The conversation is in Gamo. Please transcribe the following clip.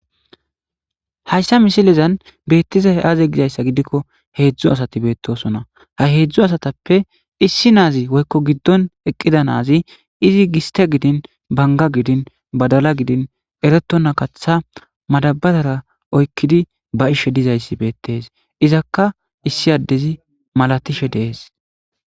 Haysa misilezan beeththizay aazee gizayssa gidikko heezzu asathi beeththoosona; ha heezzu asathappe issi naazi woykko giddon eqqiza naazi izi gisththe gidin, bangga gidin, badala gidin ereththonna kaththaa madabbarora oykkidi ba7ishi dazayssi beeththes; izakka issi addezi malashi de7ees.